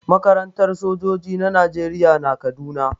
Makarantar sojoji na najeriya na kaduna